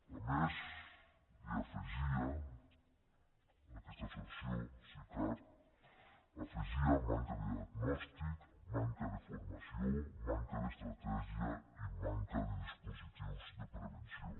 a més hi afegia aquesta associació sicar afegia manca de diagnòstic manca de formació manca d’estratègia i manca de dispositius de prevenció